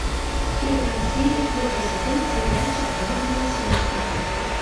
первая серия первый сезон сериальчик блудные сестры